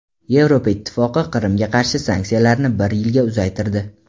Yevropa Ittifoqi Qrimga qarshi sanksiyalarini bir yilga uzaytirdi.